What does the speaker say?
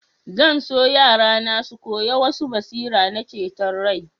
Zan so yarana su ƙoya wasu basira na ceton rai.